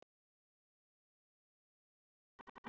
Hvernig er stemningin hjá ÍR?